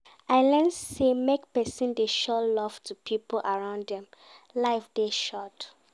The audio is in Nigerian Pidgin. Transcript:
I learn sey make pesin dey show love to pipo around dem, life dey short.